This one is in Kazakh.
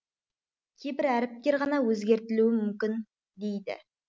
кейбір әріптер ғана өзгертілуі мүмкін дейді